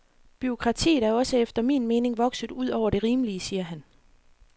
Bureaukratiet er også efter min mening vokset ud over det rimelige, siger han.